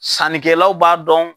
Sannikɛlaw b'a dɔn.